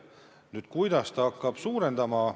Nüüd, kuidas see hind hakkab tõusma?